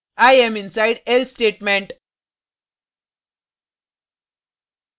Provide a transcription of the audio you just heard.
i am inside else statement